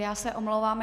Já se omlouvám.